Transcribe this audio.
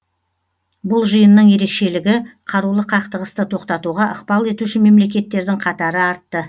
бұл жиынның ерекшелігі қарулы қақтығысты тоқтатуға ықпал етуші мемлекеттердің қатары артты